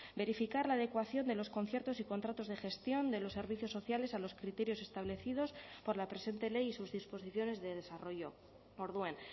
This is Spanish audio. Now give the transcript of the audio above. verificar la adecuación de los conciertos y contratos de gestión de los servicios sociales a los criterios establecidos por la presente ley y sus disposiciones de desarrollo orduan